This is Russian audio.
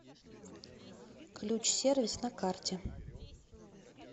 ключ сервис на карте